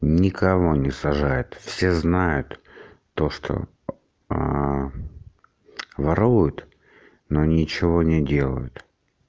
никого не сажает все знают то что воруют но ничего не делают